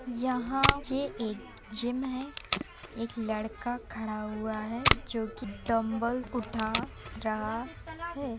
यहाँ एक जिम है। एक लड़का खड़ा हुआ हैजो कि डम्बल उठा रहा है।